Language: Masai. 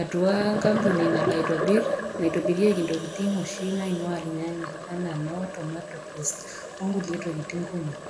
atua enkampuni nalo aitobir, naitobirieki intokitin oshi naing'ua ilnyanya anaa noo tomato paste o nkulie tokitin kumok.